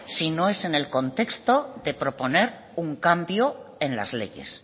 si no es en el contexto de proponer un cambio en las leyes